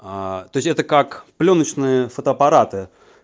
аа то есть это как аа плёночные фотоаппараты